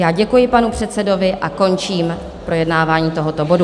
Já děkuji panu předsedovi a končím projednávání tohoto bodu.